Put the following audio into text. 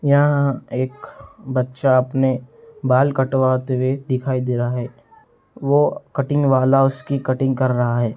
यहां एक बच्चा अपने बाल कटवाते हुए दिखाई दे रहा है वो कटिंग वाला उसकी कटिंग कर रहा है।